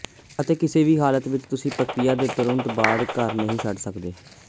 ਅਤੇ ਕਿਸੇ ਵੀ ਹਾਲਤ ਵਿੱਚ ਤੁਸੀਂ ਪ੍ਰਕਿਰਿਆ ਦੇ ਤੁਰੰਤ ਬਾਅਦ ਘਰ ਨਹੀਂ ਛੱਡ ਸਕਦੇ